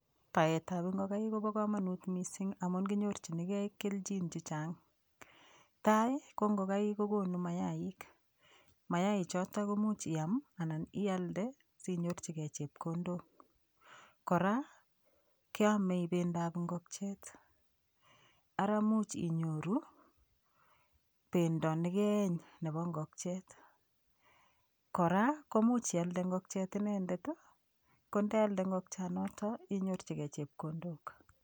Baetab ngokaik kobo komonut mising' amun konyorchinigei kelchin chechang' tai ko ngokaik kokonu mayaik mayaichoto komuuch iam anan ialde sinyorchigei chepkondok kora keomei bendoap ngokchet ara muuch inyoru bendo nekeeny nebo ngokchet kora komuuch ialde ngokchet inendet ko ndealde ngokchanoto inyorchigei chepkondok